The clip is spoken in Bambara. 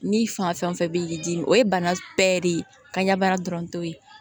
Ni fan fɛn fɛn bɛ k'i dimi o ye bana bɛɛ de ye ka ɲɛ baara dɔrɔn t'o ye